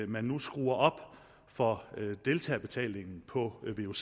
man nu skruer op for deltagerbetalingen på vuc